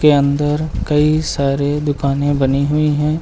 अंदर कई सारे दुकानें बनी हुई हैं।